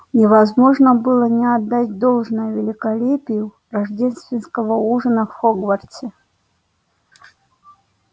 невозможно было не отдать должное великолепию рождественского ужина в хогвартсе